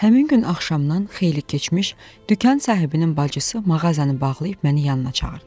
Həmin gün axşamdan xeyli keçmiş, dükan sahibinin bacısı mağazanı bağlayıb məni yanına çağırdı.